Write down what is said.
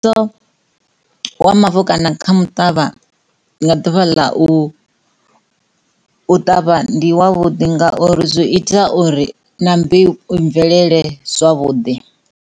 Wa mavu kana kha muṱavha nda ḓuvha ḽa u ṱavha ndi wavhuḓi ngauri zwo ita uri na mbeu i bvelele zwavhuḓi.